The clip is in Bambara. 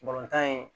Balontan in